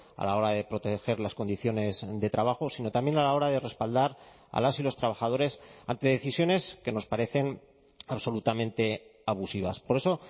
a la hora de proteger las condiciones de trabajo sino también a la hora de respaldar a las y los trabajadores ante decisiones que nos parecen absolutamente abusivas por eso